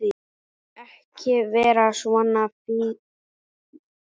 Ekki vera svona fýldur.